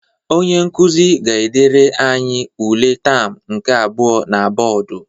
Onye nkuzi ga-edere anyi ule taam nke abụọ na bọdụ.